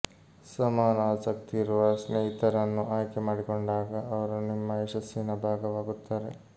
ಸಮಾನ ಆಸಕ್ತಿ ಇರುವ ಸ್ನೇಹಿತರನ್ನು ಆಯ್ಕೆ ಮಾಡಿಕೊಂಡಾಗ ಅವರು ನಿಮ್ಮ ಯಶಸ್ಸಿನ ಭಾಗವಾಗುತ್ತಾರೆ